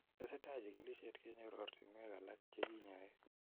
Tesetai chigilishet kenyor ortinweek alak cheginyoe